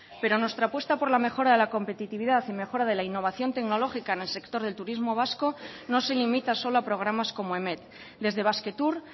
pero nuestra apuesta por la mejora de la competitividad y mejora de la innovación tecnológica en el sector del turismo vasco no se limita solo a programas como emet desde basquetour